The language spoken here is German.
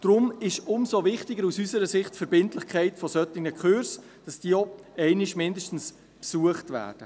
Darum ist aus unserer Sicht die Verbindlichkeit solcher Kurse umso wichtiger und dass diese doch mindestens einmal besucht werden.